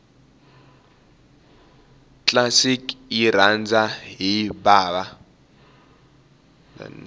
classic yirhandza hhibava